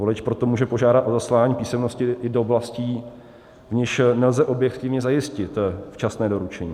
Volič proto může požádat o zaslání písemnosti i do oblastí, v nichž nelze objektivně zajistit včasné doručení.